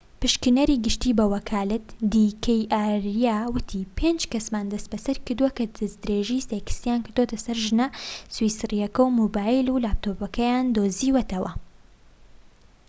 پشکنەری گشتی بە وەکالەت دی کەی ئاریا وتی پێنج کەسمان دەستبەسەر کردووە کە دەستدرێژی سێکسیان کردۆتە سەر ژنە سویسریەکە و مۆبایل و لاپتۆپەکەیمان دۆزیوەتەوە